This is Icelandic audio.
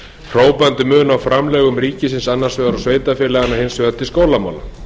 hrópandi mun á framlögum ríkisins annars vegar og sveitarfélögunum hins vegar til skólamála